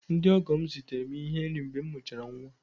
Ndị ọgọ m zitere m ihe nri mgbe m mụchara nwa